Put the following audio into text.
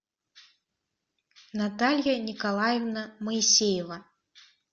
наталья николаевна моисеева